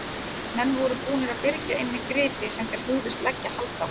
Menn voru búnir að byrgja inni gripi sem þeir hugðust leggja hald á.